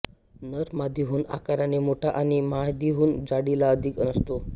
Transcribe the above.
नर मादीहून आकाराने मोठा आणि मादीहून जाडीला अधिक असतो